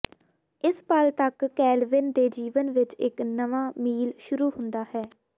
ਇਸ ਪਲ ਤੱਕ ਕੈਲਵਿਨ ਦੇ ਜੀਵਨ ਵਿੱਚ ਇੱਕ ਨਵ ਮੀਲ ਸ਼ੁਰੂ ਹੁੰਦਾ ਹੈ